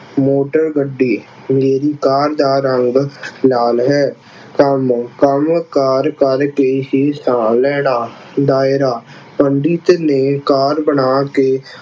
ਮੋਟਰਗੱਡੀ ਮੇਰੀ ਕਾਰ ਦਾ ਰੰਗ ਲਾਲ ਹੈ। ਕੰਮ ਕੰਮਕਾਰ ਕਰਕੇ ਹੀ ਸਾਹ ਲੈਣਾ। ਦਾਇਰਾ ਪੰਡਿਤ ਨੇ ਕਾਰਡ ਬਣਾ ਕੇ